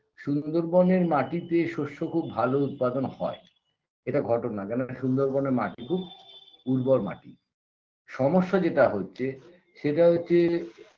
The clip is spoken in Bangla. সুন্দরবনের মাটিতে শস্য খুব ভালো উৎপাদন হয় এটা ঘটনা কেন সুন্দরবনের মাটি খুব উর্বর মাটি সমস্যা যেটা হচ্ছে সেটা হচ্ছে